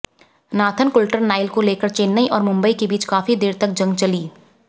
Nathan Coulter Nile को लेकर चेन्नई और मुंबई के बीच काफी देर तक जंग चली